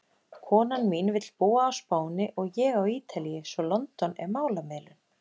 Konan mín vill búa á Spáni og ég á Ítalíu svo London er málamiðlun!